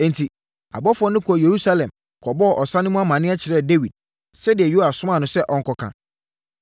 Enti, abɔfoɔ no kɔɔ Yerusalem kɔbɔɔ ɔsa no mu amaneɛ kyerɛɛ Dawid sɛdeɛ Yoab somaa no sɛ ɔnkɔka.